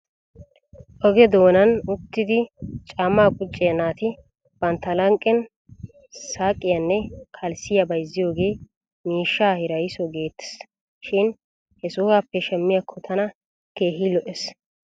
Oge doonan uttidi caamaa qucciyaa naati bantta lanqqen saqqiyaanne kalssiyaa bayzziyoogee miishshaa hirayso geettes shin he sohuwaappe shamiyaakko tana keehi lo'es.